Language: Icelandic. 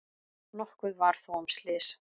Nokkuð var þó um slys.